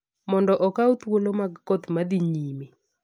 mondo okaw thuolo mag koth ma dhi nyime.